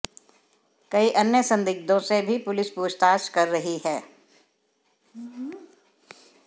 कई अन्य संदिग्धों से भी पुलिस पूछताछ कर रही है